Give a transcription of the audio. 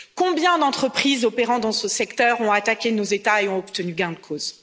Combien d'entreprises opérant dans ce secteur ont attaqué nos États et ont obtenu gain de cause!